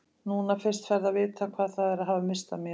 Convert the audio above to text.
Núna fyrst ferðu að vita hvað það er að hafa misst af mér.